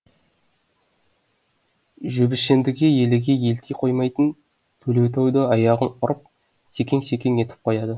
жөбішіндіге еліге елти қоймайтын төлеутай да аяғын ұрып секең секең етіп қояды